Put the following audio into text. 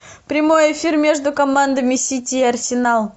прямой эфир между командами сити и арсенал